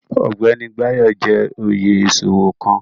Ọgbẹni Bayo jẹ́ oyè iṣowo kan